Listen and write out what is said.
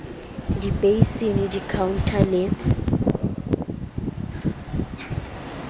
di basin di contour le